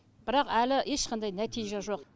бірақ әлі ешқандай нәтиже жоқ